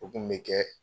O kun bɛ kɛ